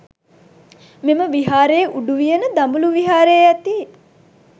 මෙම විහාරයේ උඩුවියන දඹුලු විහාරයේ ඇති